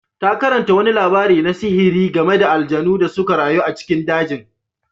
Ta karanta wani labari na sihiri game da aljanu da suka rayu a cikin dajin.